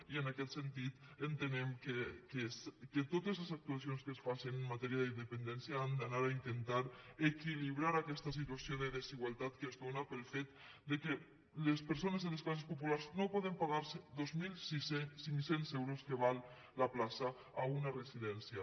i en aquest sentit entenem que totes les actuacions que es facen en matèria de dependència han d’anar a intentar equilibrar aquesta situació de desigualtat que es dóna pel fet que les persones de les classes populars no poden pagar se dos mil cinc cents euros que val la plaça a una residència